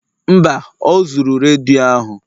Mba, o zuru redio ahụ